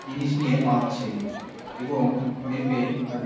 জিনিস নিয়ে মাপছে এবং মেপে তাদের--